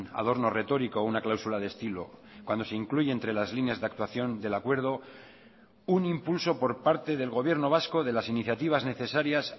adorno retórico o una cláusula de estilo cuando se incluye entre las líneas de actuación del acuerdo un impulso por parte del gobierno vasco de las iniciativas necesarias